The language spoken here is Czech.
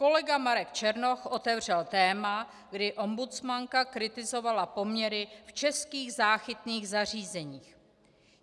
Kolega Marek Černoch otevřel téma, kdy ombudsmanka kritizovala poměry v českých záchytných zařízeních.